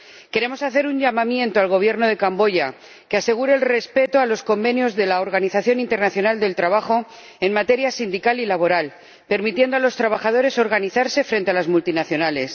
Queremos hacer un llamamiento al Gobierno de Camboya que asegure el respeto de los convenios de la Organización Internacional del Trabajo en materia sindical y laboral, permitiendo a los trabajadores organizarse frente a las multinacionales